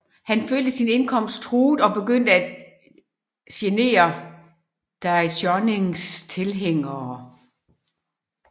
Han følte sin indkomst truet og begyndte at genere Daishonins tilhængere